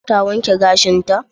Ta wanke gashinta?